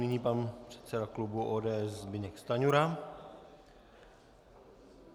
Nyní pan předseda klubu ODS Zbyněk Stanjura.